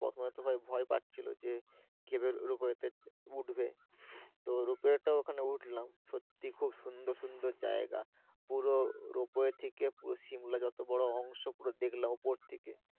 প্রথমে তো ভাই ভায় পাচ্ছিলো যে কিভাবে রোপওয়ে উঠবে তো Ropeway টা ওখানে উঠলাম সত্যি খুব সুন্দর সুন্দর জায়গা পুরো রোপওয়ে ঠেকে শিমলা যত বড় পুরো দেখলাম উপর থেকে।